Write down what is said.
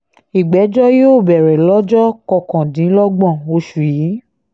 ìgbẹ́jọ́ yóò bẹ̀rẹ̀ lọ́jọ́ kọkàndínlọ́gbọ̀n oṣù yìí